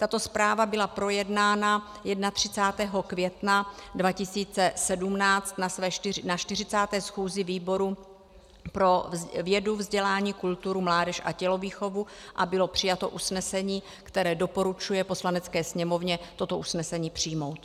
Tato zpráva byla projednána 31. května 2017 na 40. schůzi výboru pro vědu, vzdělání, kulturu, mládež a tělovýchovu a bylo přijato usnesení, které doporučuje Poslanecké sněmovně toto usnesení přijmout.